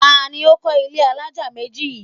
Ta ni ó kọ́ ilé alájà méjì yìí?